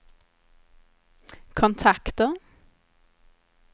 kontakter